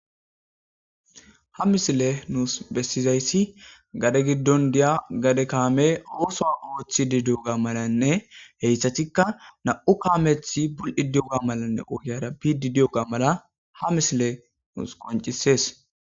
ha misile nuus bessizayssi gade giddon diya gade kaame ooso oothi di di7oga malanne heyssatikka na7u kaamethi bul7i di7oga malanne ohiyara pidi diyoga mala ha misile nuus qoncisees